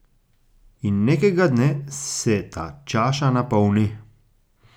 In nekega dne se ta čaša napolni.